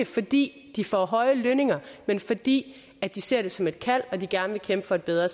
fordi de får høje lønninger men fordi de ser det som et kald og de gerne vil kæmpe for et bedre